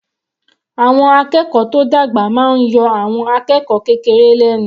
Àwọn akẹ́kọ̀ọ́ tó dàgbà máa yọ àwọn akẹ́kọ̀ọ́ kékeré lẹ́nu.